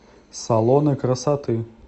салоны красоты